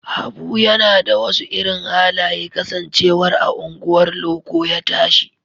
Habu yana da wasu irin halaye kasancewar a unguwar loko ya tashi